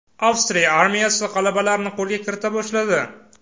Avstriya armiyasi g‘alabalarni qo‘lga kirita boshladi.